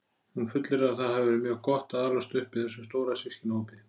Hún fullyrðir að það hafi verið mjög gott að alast upp í þessum stóra systkinahópi.